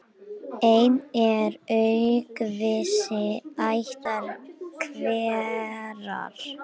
Einn er aukvisi ættar hverrar.